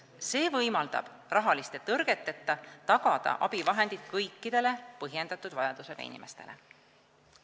See võimaldab rahaliste tõrgeteta tagada abivahendid kõikidele põhjendatud vajadusega inimestele.